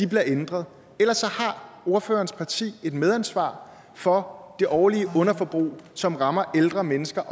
bliver ændret ellers har ordførerens parti et medansvar for det årlige underforbrug som rammer ældre mennesker